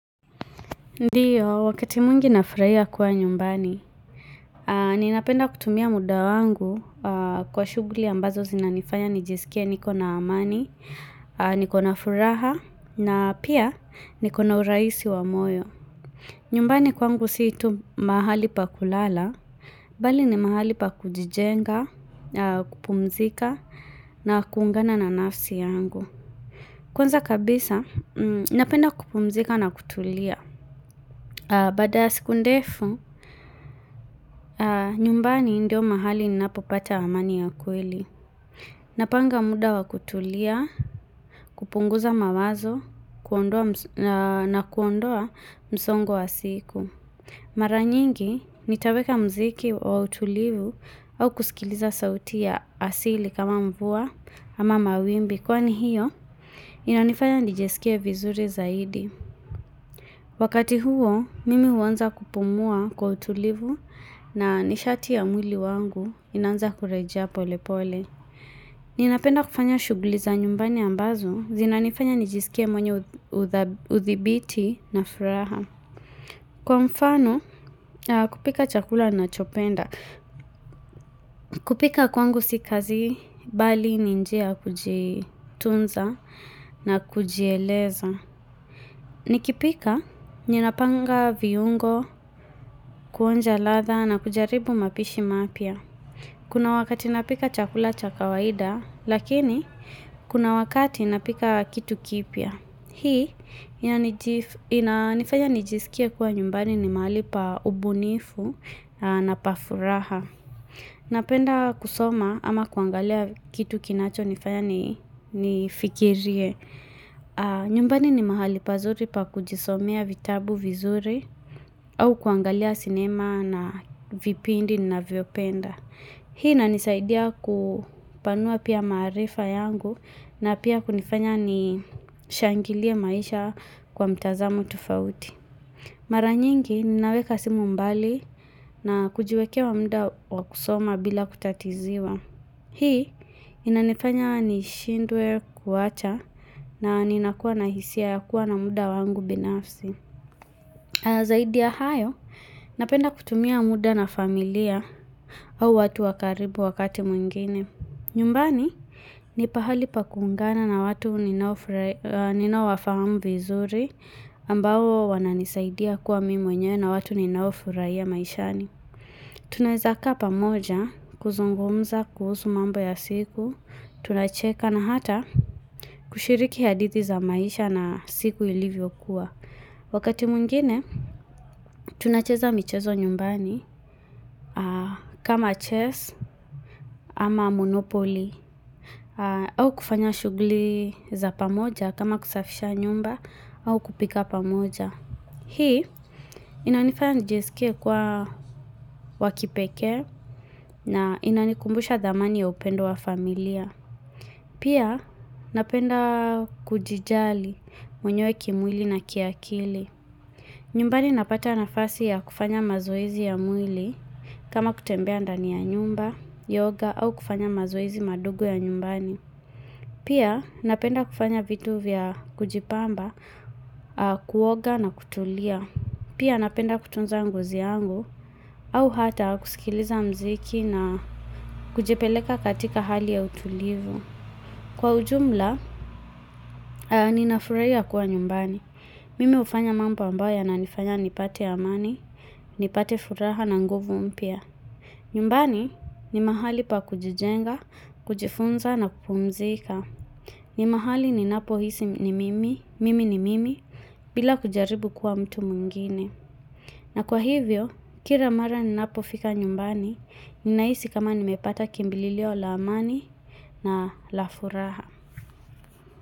Ndiyo, wakati mwingi nafurahia kuwa nyumbani. Ninapenda kutumia muda wangu kwa shughuli ambazo zinanifanya nijisikie niko na amani, niko na furaha, na pia niko na urahisi wa moyo. Nyumbani kwangu si tu mahali pa kulala, bali ni mahali pa kujijenga, kupumzika, na kuungana na nafsi yangu. Kwanza kabisa, napenda kupumzika na kutulia. Baada ya siku ndefu, nyumbani ndio mahali ninapopata amani ya kweli. Napanga muda wa kutulia, kupunguza mawazo na kuondoa msongo wa siku. Maranyingi, nitaweka mziki wa utulivu au kusikiliza sauti ya asili kama mvua ama mawimbi. Kwani hiyo, inanifanya nijisikie vizuri zaidi. Wakati huo, mimi huanza kupumua kwa utulivu na nishati ya mwili wangu inaanza kurejea pole pole. Ninapenda kufanya shughuli za nyumbani ambazo, zinanifanya nijisikie mwenyo udhibiti na furaha. Kwa mfano, kupika chakula ninachopenda. Kupika kwangu si kazi, bali ni njia ya kujitunza na kujieleza. Nikipika, ninapanga viungo, kuonja ladha na kujaribu mapishi mapya. Kuna wakati napika chakula cha kawaida, lakini kuna wakati napika kitu kipya. Hii, inanifanya nijisikia kuwa nyumbani ni mahali pa ubunifu na pa furaha. Napenda kusoma ama kuangalia kitu kinacho nifanya nifikirie. Nyumbani ni mahali pazuri pa kujisomea vitabu vizuri au kuangalia sinema na vipindi ninavyopenda Hii inanisaidia kupanua pia maarifa yangu na pia kunifanya nishangilie maisha kwa mtazamo tofauti Maranyingi ninaweka simu mbali na kujiwekea muda wa kusoma bila kutatiziwa Hii inanifanya nishindwe kuwacha na ninakuwa na hisia ya kuwa na muda wangu binafsi. Zaidi ya hayo napenda kutumia muda na familia au watu wakaribu wakati mwingine. Nyumbani ni pahali pa kuungana na watu ninaowafamu vizuri ambao wananisaidia kuwa mimi mwenyewe na watu ninaofurahia maishani. Tunaezakaa pamoja kuzungumza kuhusu mambo ya siku Tunacheka na hata kushiriki hadithi za maisha na siku ilivyokuwa Wakati mwingine tunacheza michezo nyumbani kama chess ama monopoly au kufanya shughuli za pamoja kama kusafisha nyumba au kupika pamoja Hii inanifanya nijiskie kuwa wa kipekee na inanikumbusha dhamani ya upendo wa familia. Pia napenda kujijali mwenyewe kimwili na kiakili. Nyumbani napata nafasi ya kufanya mazoezi ya mwili kama kutembea ndani ya nyumba, yoga au kufanya mazoezi madogo ya nyumbani. Pia napenda kufanya vitu vya kujipamba, kuoga na kutulia. Pia napenda kutunza ngozi yangu au hata kusikiliza mziki na kujipeleka katika hali ya utulivu. Kwa ujumla, ninafurahia kuwa nyumbani. Mimi hufanya mambo ambayo yananifanya nipate amani, nipate furaha na nguvu umpia. Nyumbani ni mahali pa kujijenga, kujifunza na kupumzika. Ni mahali ninapohisi ni mimi, mimi ni mimi, bila kujaribu kuwa mtu mwingine. Na kwa hivyo, kila mara ninapofika nyumbani, ninahisi kama nimepata kimbililio la amani na la furaha.